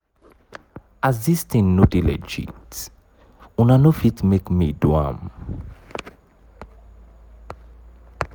as dis tin no dey legit una no ft make me do am.